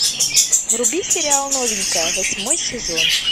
вруби сериал новенькая восьмой сезон